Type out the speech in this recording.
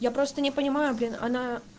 я просто не понимаю блин она